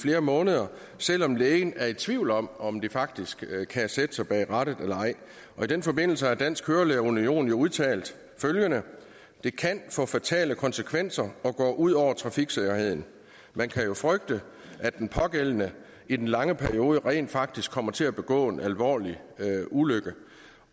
flere måneder selv om lægen er i tvivl om om de faktisk kan sætte sig bag rattet eller ej i den forbindelse har dansk kørelærer union jo udtalt følgende det kan få fatale konsekvenser og går ud over trafiksikkerheden man kan jo frygte at den pågældende i den lange periode rent faktisk kommer til at begå en alvorlig ulykke